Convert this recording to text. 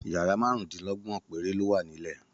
Yàrá márùndínlọ́gbọ̀n péré ló wà nílẹ̀